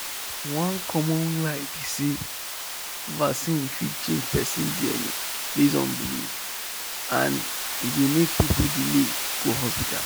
one common lie be say vaccine fit change person dna based on belief and e dey make people delay go hospital.